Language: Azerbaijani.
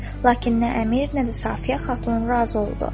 Lakin nə əmir, nə də Safiyə Xatun razı oldu.